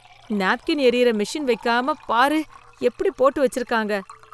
Napkin எரியிற machine வைக்காமப் பாரு எப்படி போட்டு வெச்சிருக்காங்க?